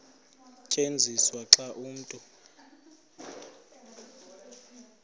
tyenziswa xa umntu